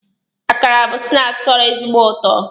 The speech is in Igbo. Akara bụ snaakị tọrọ ezigbo ụtọ